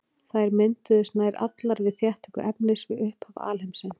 Þær mynduðust nær allar við þéttingu efnis við upphaf alheimsins.